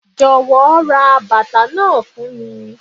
Jọ̀wọ́ ra bàtà náà fún mi.